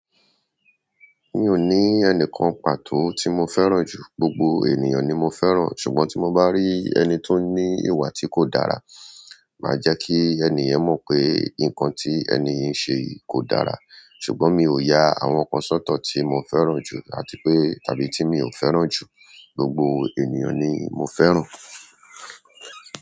Mi ò ní ẹnìkan pàtó tí mo fẹ́ràn jù, gbogbo ènìyàn ni mo fẹ́ràn. Ṣùgbọ́n tí mo bá rí ẹni tó ní ìwà tí kò dára, màá jẹ́ kí ènì yrn mọ́ pé nǹkan tí ènì yìí ń ṣe yìí kò dára. Ṣùgbọ́n mi ò ya àwọn kan sọ́tọ̀ tí mo fẹ́ràn jù àti pé tàbí tí mi ò fẹ́ràn jù, gbogbo ènìyàn ni mo fẹ́ràn.